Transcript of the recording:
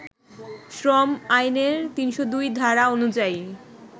শ্রম আইনের ৩০২ ধারা অনুযায়ী